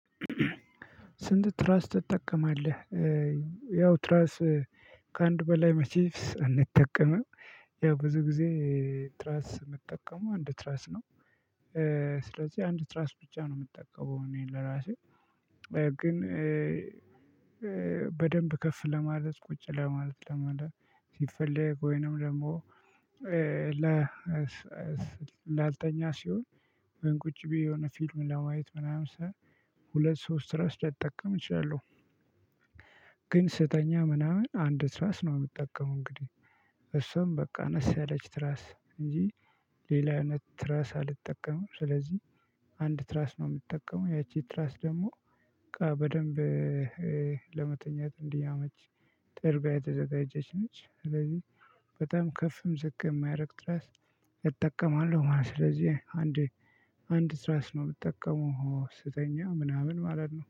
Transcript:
ስንት? ትራስ ትጠቀማለህ ያው ትራስ ከአንድ በላይ መቼስ አንጠቀምም። ያው ብዙ ጊዜ ትራስ ምጠቀመው አንድ ትራስ ነው። ስለዚህ አንድ ትራስት ብቻ ነው ምጠቀመው እኔ ለራሴ። ግን በደንብ ከፍ ለማለት ቁጭ ለማለት ለማለት ሲፈለግ ወይንም ደግሞ ላልተኛ ሲሆን ግን ቁጭ ብዬ የሆነ ፊልም ለማየት ምናምን ሰው ሁለት ሶስት ትራስ ልጠቀም እችላለሁ። ግን ስተኛ ምናምን አንድ ትራስ ነው ምጠቀመው። እንግዲህ እሷም በቃ አነስ ያለች ትራስ እንጂ ሌላ አይነት ትራስ አልጠቀምም። ስለዚህ አንድ ትራስ ነው ምትጠቀመው ያቺ ትራስ ደግሞ በቃ በደንብ ለመተኛት እንዲያመች ጥርባ የተዘጋጀች ነች። ስለዚህ በጣም ከፍም ዝቅ ማያረግ ትራስ እጠቀማለሁ ማለት ነው። ስለዚህ አንድ አንድ ትራስ ነው ምጠቀመው ስተኛ ምናምን ማለት ነው